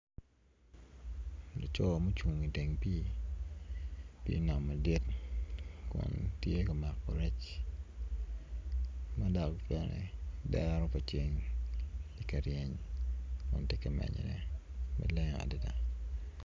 Laco mucung iteng pii pii nam madit tye ka mako rec ma dok bene dero pa ceng ti ka reny kun ti ka menyone maleng adida